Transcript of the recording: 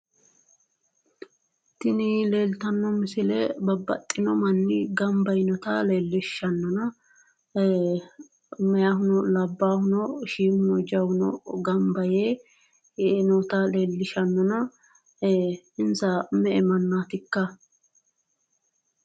tini leeltano misile babaxino manni ganba yinota leellishshanona meyaahuno labbaahuno shiimuno jawuno ganba yee yinota leellishshanona insa me'e mannaatikka?